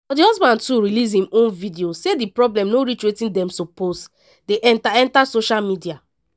but di husband too release im own video say di problem no reach wetin dem suppose dey enta enta social media.